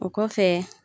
O kɔfɛ